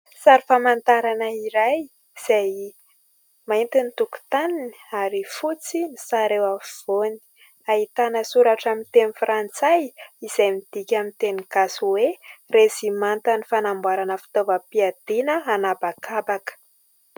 Sary famantarana iray izay mainty ny tokotaniny ary fotsy. Ny sary eo afovoany ahitana soratra amin'ny teny frantsay izay midika amin'ny teny gasy hoe « rezimantan'ny fanamboarana fitaovam-piadina hanabakabaka ».